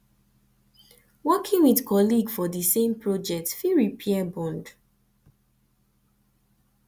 working with colleague for di same project fit repair bond